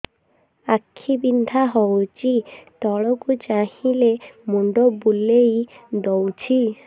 ଆଖି ବିନ୍ଧା ହଉଚି ତଳକୁ ଚାହିଁଲେ ମୁଣ୍ଡ ବୁଲେଇ ଦଉଛି